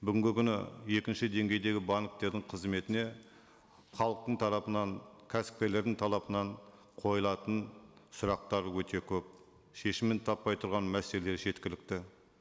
бүгінгі күні екінші деңгейдегі банктердің қызметіне халықтың тарапынан кәсіпкерлердің қойылатын сұрақтар өте көп шешімін таппай тұрған мәселелер жеткілікті